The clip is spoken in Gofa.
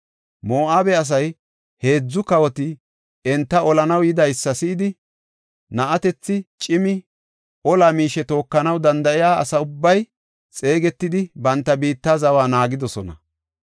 Moo7abe asay, heedzu kawoti enta olanaw yidaysa si7idi, na7atethi, cimi, ola miishe tookanaw danda7iya asa ubbay xeegetidi, banta biitta zawa naagidosona.